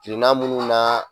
Kirina minnu na